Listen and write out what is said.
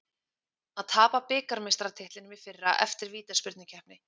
Að tapa bikarmeistaratitlinum í fyrra eftir vítaspyrnukeppni